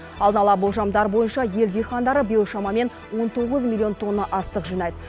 алдын ала болжамдар бойынша ел диқандары биыл шамамен он тоғыз милллион тонна астық жинайды